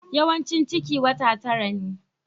Yawaicin ciki wata tara ne.